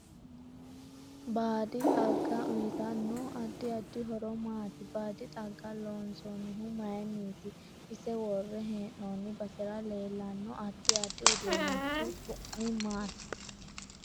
Baadi xagga uyiotanno adddi addi horo maati baadi xagga loonsanihu mayiiniiti ise worre heenooni basera leelanno addi addi uduunichu su'mi maati